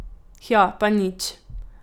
Hja, pa nič.